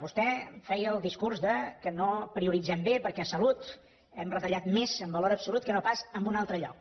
vostè feia el discurs que no prioritzem bé perquè a salut hem retallat més en valor absolut que no pas en un altre lloc